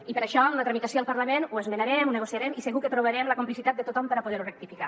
i per això en la tramitació al parlament ho esmenarem ho negociarem i segur que trobarem la complicitat de tothom per a poder ho rectificar